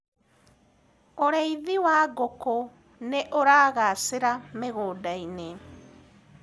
ũrĩithi wa ngũkũ nĩuragacira mĩgũnda-inĩ